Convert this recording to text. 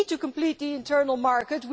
we need to complete the internal market,